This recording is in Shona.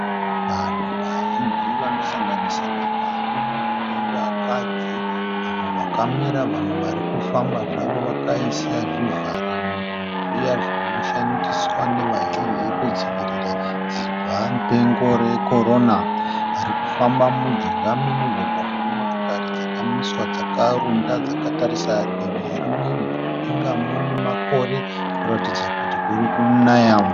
Vanhu vazhinji vanosanganisira varume navakadzi, vamwe vakamira vamwe vari kufamba zvavo vakaisa zvivharamuromo zviya zvinoshandiswa nevazhinji kudzivirira dzibwamupengo rekorona. Vari kufamba mujinga momugwagwa mune motokari dzakamiswa dzakarunda dzakatarisa divi rimwe. Mudenga mune makore kuratidza kuti kuri kunaya.